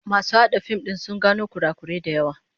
Masu hada fim din sun gano kurakurai da yawa